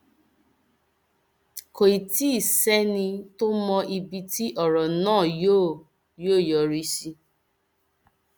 kò tí ì sẹni tó mọ ibi tí ọrọ náà yóò yóò yọrí sí